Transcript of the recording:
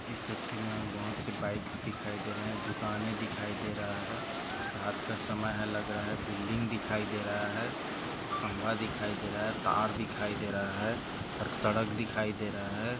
इस तस्वीर मे बहुत सी बाइक्स दिखाई दे रहा है दुकाने दिखाई दे रहा है रात का समय लग रहे बिल्डिंग दिखाई दे रहा है खम्बा दिखाई दे रहा है तार दिखाई दे रहा है और सड़क दिखाई दे रहा है।